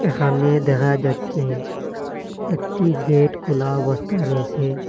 এখানে দেখা যাচ্ছে একটি গেট খোলা অবস্থায় রয়েসে।